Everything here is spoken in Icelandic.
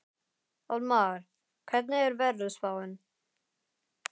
Hallmar, hvernig er veðurspáin?